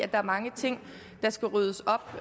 der er mange ting der skal ryddes op